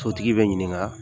Tɔntigi bɛ ɲininka